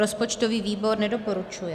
Rozpočtový výbor nedoporučuje.